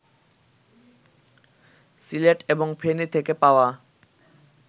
সিলেট এবং ফেনি থেকে পাওয়া